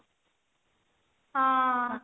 ହଁ